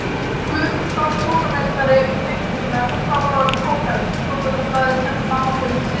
Guðmundsson, húsameistara, um bygginguna, sem þá var orðin fokheld: Stúdentablaðið sendi mann á fund Sig.